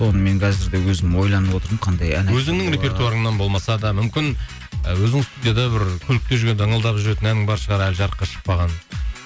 оны мен қазір де өзім ойланып отырмын өзіңнің репертуарыңнан болмаса да мүмкін ы өзің студияда бір көлікте жүргенде ыңылдап жүретін әнің бар шығар әлі жарыққа шықпаған